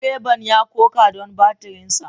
Direban ya koka don batirinsa.